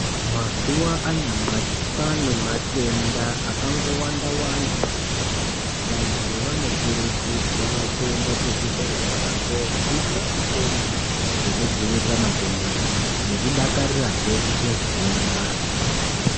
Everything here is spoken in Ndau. Mazuwa anyamashi kwane matenda akangowanda wanda kudai. Vantu vanokurudzirwa kuenda kuzvibhedhlera koojungwa mitombo yekudziwirira matendawo nekudakarirahe kugeze nyara